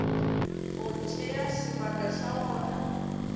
go tšea sebaka sa wona